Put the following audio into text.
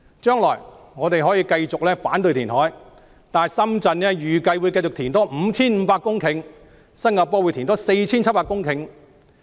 將來我們可以繼續反對填海，但深圳預計還會填海 5,500 公頃，新加坡還會填海 4,700 公頃。